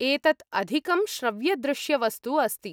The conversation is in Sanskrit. एतत् अधिकं श्रव्यदृश्यवस्तु अस्ति ।